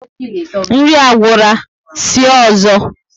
Nri agwura, sie ọzọ